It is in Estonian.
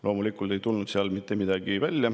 Loomulikult ei tulnud sealt mitte midagi.